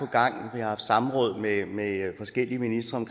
gang har haft samråd med forskellige ministre